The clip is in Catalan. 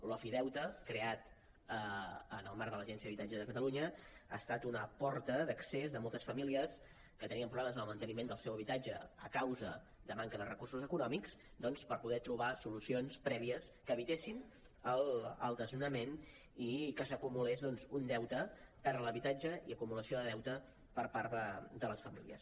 l’ofideute creat en el marc de l’agència de l’habitatge de catalunya ha estat una porta d’accés de moltes famílies que tenien problemes en el manteniment del seu habitatge a causa de manca de recursos econòmics doncs a poder trobar solucions prèvies que evitessin el desnonament i que s’acumulés un deute per l’habitatge i acumulació de deute per part de les famílies